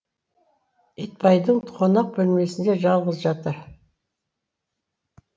итбайдың қонақ бөлмесінде жалғыз жатыр